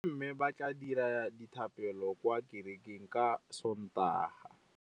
Bommê ba tla dira dithapêlô kwa kerekeng ka Sontaga.